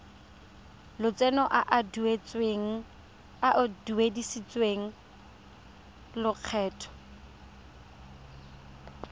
lotseno a a duedisiwang lokgetho